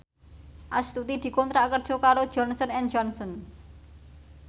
Astuti dikontrak kerja karo Johnson and Johnson